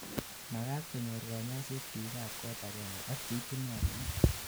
magat konyor kanyoiset biik ab kot agengei ak cheitunotin